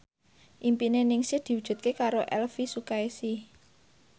impine Ningsih diwujudke karo Elvy Sukaesih